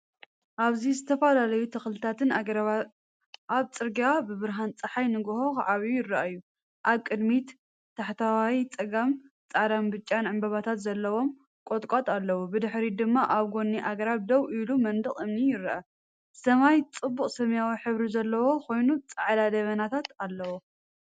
ኣብዚ ዝተፈላለዩ ተኽልታትን ኣግራብን ኣብ ጽርግያ ብብርሃን ጸሓይ ንግሆ ክዓብዩ ይረኣዩ። ኣብ ቅድሚት፡ታሕተዋይ ጸጋም፡ጻዕዳን ብጫን ዕምባባታት ዘለዎም ቁጥቋጥ ኣለዉ፡ብድሕሪት ድማ ኣብ ጎኒ ኣግራብ ደው ኢሉ መንደቕ እምኒ ይርአ። ሰማይ ጽቡቕ ሰማያዊ ሕብሪ ዘለዎ ኮይኑ ጻዕዳ ደበናታት እዩ።